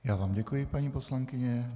Já vám děkuji, paní poslankyně.